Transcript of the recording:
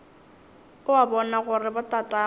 o a bona gore botatagwe